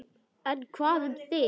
En hvað um þig?